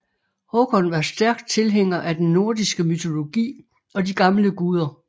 Håkon var stærkt tilhænger af den nordiske mytologi og de gamle guder